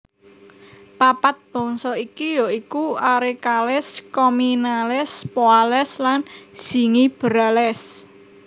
Papat bangsa iki ya iku Arecales Commelinales Poales lan Zingiberales